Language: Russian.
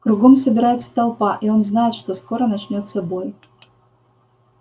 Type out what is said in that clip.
кругом собирается толпа и он знает что скоро начнётся бой